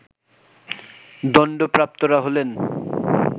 দণ্ডপ্রাপ্তরা হলেন